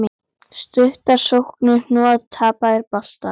Stuttar sóknir, hnoð, tapaðir boltar.